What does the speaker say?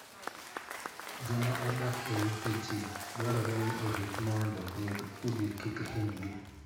Joma odak e ute ji dwarore ni orit mondo weg udi kik hinygi.